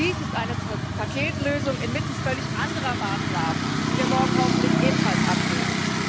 Auch dies ist eine Paketlösung inmitten völlig anderer Maßnahmen, die wir hoffentlich morgen ebenfalls ablehnen.